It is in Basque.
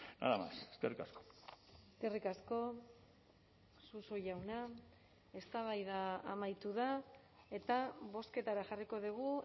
nada más eskerrik asko eskerrik asko suso jauna eztabaida amaitu da eta bozketara jarriko dugu